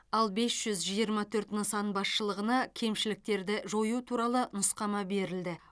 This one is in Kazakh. ал бес жүз жиырма төрт нысан басшылығына кемшіліктерді жою туралы нұсқама берілді